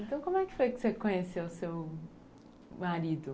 Então, como é que foi que você conheceu o seu marido?